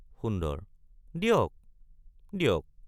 সুন্দৰ—দিয়ক—দিয়ক।